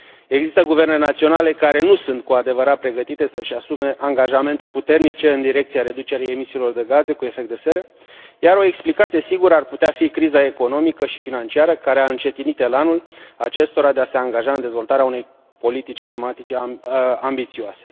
Există guverne naționale care nu sunt cu adevărat pregătite să și asume angajamente puternice în direcția reducerii emisiilor de gaze cu efect de seră, iar o explicație sigură ar putea fi criza economică și financiară care a încetinit elanul acestora de a se angaja în dezvoltarea unei politici climatice ambițioase.